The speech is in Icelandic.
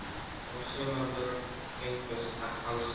Og sumar vörur fengust alls ekki.